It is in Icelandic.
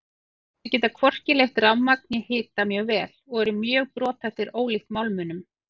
Þeir geta hvorki leitt rafmagn né hita mjög vel og eru mjög brothættir ólíkt málmunum.